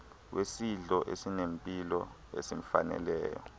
wesidlo esinempilo esimfaneleyo